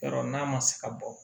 Yɔrɔ n'a ma se ka bɔ